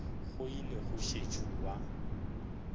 go ile go sešo gwa